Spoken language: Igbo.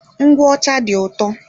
Ngwụ ọcha dị ụtọ.